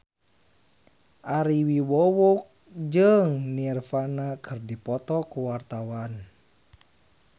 Ari Wibowo jeung Nirvana keur dipoto ku wartawan